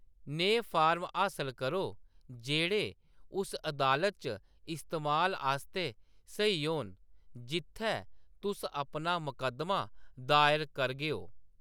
नेह् फार्म हासल करो जेह्‌‌ड़े उस अदालत च इस्तेमाल आस्तै स्हेई होन जित्थै तुस अपना मकद्दमा दायर करगेओ।